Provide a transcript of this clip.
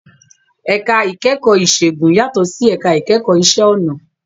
Ẹ̀ka ìkẹ́kọ̀ọ́ ìṣègùn yàtọ̀ sí ẹ̀ka ìkẹ́kọ̀ọ́ ìṣe ọnà